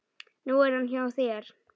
Nú er hann hjá þér.